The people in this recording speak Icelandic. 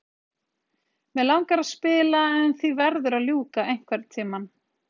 Mig langar að spila en því verður að ljúka einhvern tímann.